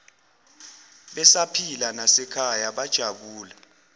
besaphila nasekhaya bajabula